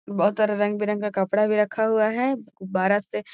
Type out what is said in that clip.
बहुत तरह के रंग-बिरंगा कपड़ा भी रखा हुआ है बाड़ा से --